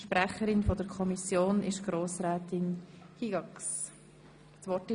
Die Kommissionssprecherin hat das Wort.